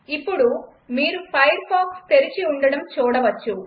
ఇప్పుడు మీరు ఫైర్ఫాక్స్ తెరచి ఉండటం చూడచ్చు